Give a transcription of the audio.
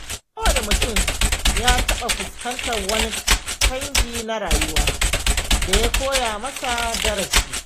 Kowane mutum ya taɓa fuskantar wani ƙangi na rayuwa da ya koya masa darasi.